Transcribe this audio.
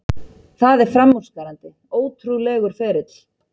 Það er framúrskarandi, ótrúlegur ferill.